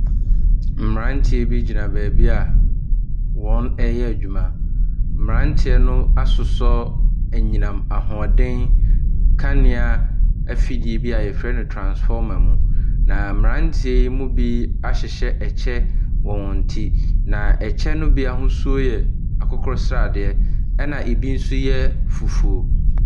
Mmeranteɛ bi gyina baabi a wɔreyɛ adwuma. Mmeranteɛ no asosɔ anyinam ahoɔden nkanea afidie bi a wɔfrɛ no transformer mu, na mmeranteɛ yi mu bi ahyehyɛ kyɛ wɔ wɔn ti, na kyɛ no bi ahosuo yɛ akokɔ sradeɛ ɛnna bi nso yɛ fufuo.